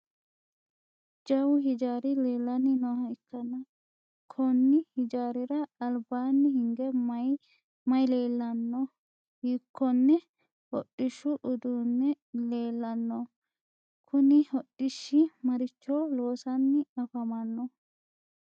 Jawu hijaari leelanni nooha ikanna konni hijaarira albaanni hige mayi leellano? Hiikonne hodhishu uduunni leelano? Kunni hodhishi maricho loosanni afammanno?